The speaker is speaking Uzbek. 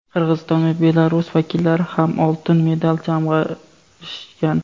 Qirg‘iziston va Belarus vakillari ham oltin medal jamg‘arishgan.